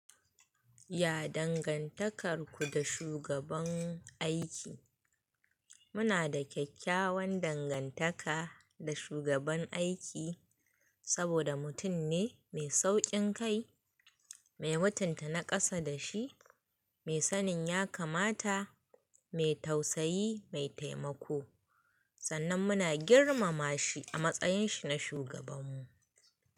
Ya dangantakar ku da shugaban aiki? Muna da kyakkyawan dangantaka da shugaban aiki saboda mutum ne mai sauƙin kai, mai mutunta naƙasa da shi, mai sanin ya kamata, mai tausayi mai taimako. Sannan muna girmama shi a matsayin shi na shugabanmu.